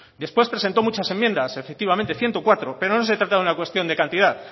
después presentó muchas enmiendas efectivamente ciento cuatro pero no se trata de una cuestión de cantidad